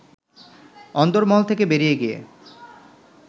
অন্দরমহল থেকে বেরিয়ে গিয়ে